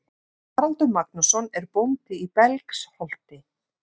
Haraldur Magnússon er bóndi í Belgsholti.